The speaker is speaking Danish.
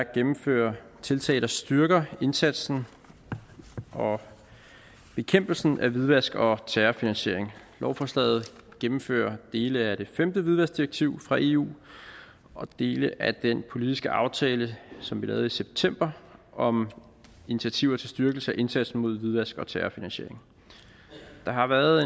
at gennemføre tiltag der styrker indsatsen og bekæmpelsen af hvidvask og terrorfinansiering lovforslaget gennemfører dele af det femte hvidvaskdirektiv fra eu og dele af den politiske aftale som vi lavede i september om initiativer til styrkelse af indsatsen mod hvidvask og terrorfinansiering der har været